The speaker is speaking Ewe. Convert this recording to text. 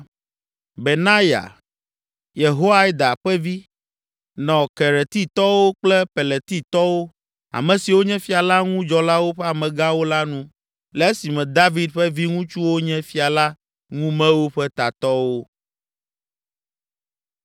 Benaya, Yehoiada ƒe vi, nɔ Keretitɔwo kple Peletitɔwo, ame siwo nye fia la ŋu dzɔlawo ƒe amegãwo la nu le esime David ƒe viŋutsuwo nye fia la ŋumewo ƒe tatɔwo.